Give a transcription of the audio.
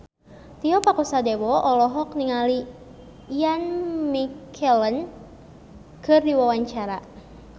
Tio Pakusadewo olohok ningali Ian McKellen keur diwawancara